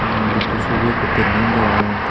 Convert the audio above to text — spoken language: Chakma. budhho sobi ekku painting degong.